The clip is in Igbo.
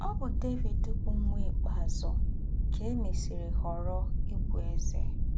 Ọ́ bụ́ Dévìd bụ́ nwạ́ ikpēazụ́ kà è mésìrì họ̀rọ̀ íbụ̀ èzè.